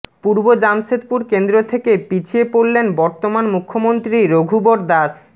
পূর্ব জামশেদপুর কেন্দ্র থেকে পিছিয়ে পড়লেন বর্তমান মুখ্যমন্ত্রী রঘুবর দাস